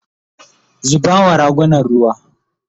zuba wa ragunan ruwa!